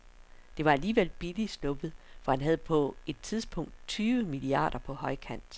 Det var alligevel billigt sluppet, for han havde på et tidspunkt tyve milliarder på højkant.